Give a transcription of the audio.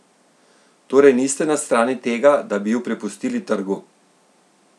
Torej niste na strani tega, da bi ju prepustili trgu?